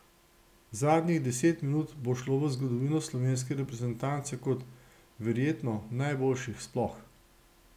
Zadnjih deset minut bo šlo v zgodovino slovenske reprezentance kot verjetno najboljših sploh.